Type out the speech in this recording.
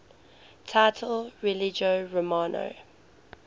title religio romana